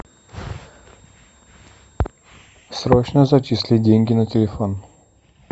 срочно зачислить деньги на телефон